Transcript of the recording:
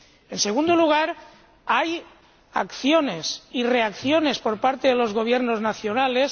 En segundo lugar, hay acciones y reacciones por parte de los Gobiernos nacionales.